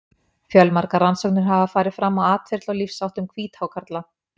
Fjölmargar rannsóknir hafa farið fram á atferli og lífsháttum hvíthákarla.